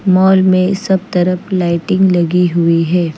Mall में सब तरफ लाइटिंग लगी हुई है।